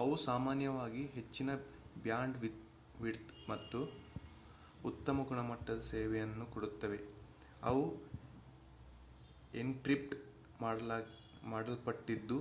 ಅವು ಸಾಮಾನ್ಯವಾಗಿ ಹೆಚ್ಚಿನ ಬ್ಯಾಂಡ್ವಿಡ್ತ್ ಮತ್ತು ಉತ್ತಮ ಗುಣಮಟ್ಟದ ಸೇವೆಯನ್ನು ಕೊಡುತ್ತವೆ ಅವು ಎನ್ಕ್ರಿಪ್ಟ್ ಮಾಡಲ್ಪಟ್ಟಿದ್ದು